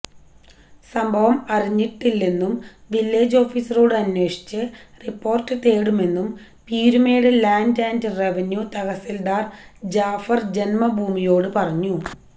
സംഭവം അറിഞ്ഞില്ലെന്നും വില്ലേജ് ഓഫീസറോട് അന്വേഷിച്ച് റിപ്പോര്ട്ട് തേടുമെന്നും Peermade land and revenue tahsildar Jafar ജന്മഭൂമിയോട് പറഞ്ഞു